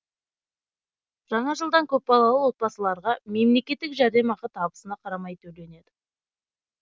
жаңа жылдан көпбалалы отбасыларға мемлекеттік жәрдемақы табысына қарамай төленеді